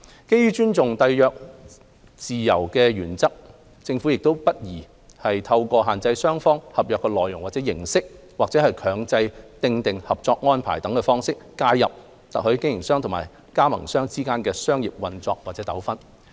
基於尊重締約自由的原則，政府亦不宜透過限制雙方合約內容或形式，或強制訂定合作安排等方式介入特許經營商和特許加盟商之間的商業運作和糾紛。